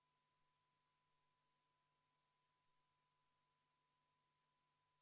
Panen teie ette hääletusele rahanduskomisjoni algatatud Finantsinspektsiooni seaduse täiendamise seaduse eelnõu 380.